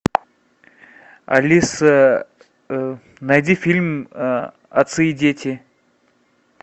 алиса найди фильм отцы и дети